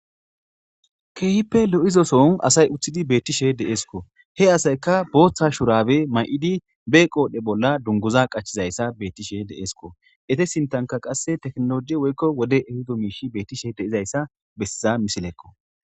Keehippe lo'izoson asay uththidi beettishe de'eeskko he asayka booththa shurabe may'idi be qoodhdhe bolla dunguza qachizayssa beettishe deeesko ete sintanka qasse teknoloi woykko wode ehudo miishi beettishe de'izayssa bessiza misilekko.